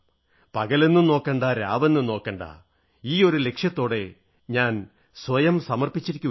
പകലെന്നും നോക്കേണ്ട രാവെന്നും നോക്കേണ്ട ഇയൊരു ലക്ഷ്യത്തോടെ ഞാൻ സ്വയം അർപ്പിച്ചിരിക്കയാണ്